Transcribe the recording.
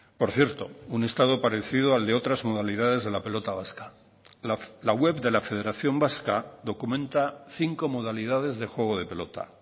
por cierto un estado parecido al de otras modalidades de la pelota vasca la web de la federación vasca documenta cinco modalidades de juego de pelota